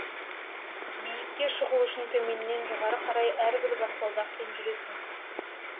биікке шығу үшін төменнен жоғары қарай әрбір баспалдақпен жүресің